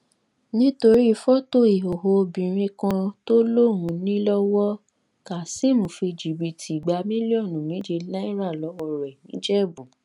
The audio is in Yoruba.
nítorí fọtò ìhòòhò obìnrin kan tó lóun ní lọwọ kazeem fi jìbìtì gba mílíọnù méje náírà lọwọ rẹ nìjẹbù